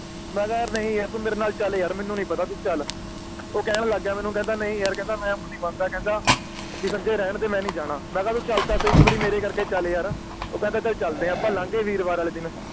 ਮੈਂ ਕਿਹਾ ਨਹੀਂ ਯਾਰ ਤੂੰ ਮੇਰੇ ਨਾਲ ਚੱਲ ਯਾਰ ਮੈਨੂੰ ਨੀ ਪਤਾ ਤੂੰ ਚੱਲ ਉਹ ਕਹਿਣ ਲੱਗ ਗਿਆ ਮੈਨੂੰ ਕਹਿੰਦਾ ਨਹੀਂ ਯਾਰ ਕਹਿੰਦਾ ਮੈਂ ਮੁ ਨੀ ਮੰਨਦਾ ਵੀ ਸੰਜੇ ਰਹਿਣ ਦੇ ਮੈਂ ਨੀ ਜਾਣਾ ਮੈਂ ਕਿਹਾ ਵੀ ਚੱਲ ਤਾ ਸਹੀ ਇਕ ਵਾਰੀ ਮੇਰੇ ਕਰਕੇ ਚੱਲ ਯਾਰ ਉਹ ਕਹਿੰਦਾ ਚੱਲ ਚਲਦੇ ਆ ਅੱਪਾ ਲੰਘੇ ਵੀਰਵਾਰ ਵਾਲੇ ਦਿਨ